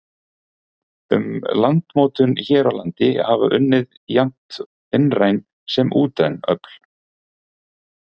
Að landmótun hér á landi hafa unnið jafnt innræn sem útræn öfl.